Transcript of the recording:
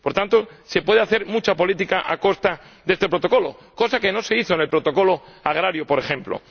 Por tanto, se puede hacer mucha política a costa de este Protocolo, cosa que no se hizo con el protocolo agrario, por ejemplo.